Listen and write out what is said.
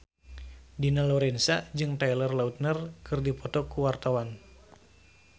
Dina Lorenza jeung Taylor Lautner keur dipoto ku wartawan